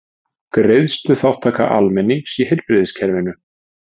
Greiðsluþátttaka almennings í heilbrigðiskerfinu.